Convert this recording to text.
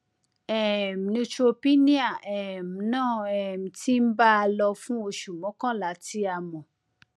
um neutropenia um náà um ti ń bá a lọ fún oṣù mọkànlá tí a mọ